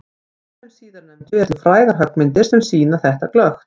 Af þeim síðarnefndu eru til frægar höggmyndir sem sýna þetta glöggt.